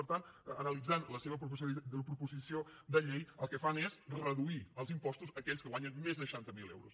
per tant analitzant la seva proposició de llei el que fan és reduir els impostos a aquells que guanyen més de seixanta miler euros